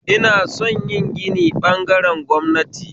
Ina son yin gini ɓagaren gwamnati